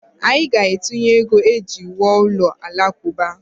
Anyị ga-atụnye ego iji wuo ụlọ alakụba